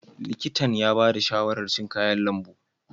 Likitan ya ba da shawarar cin kayan lambu.